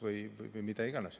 Või mida iganes.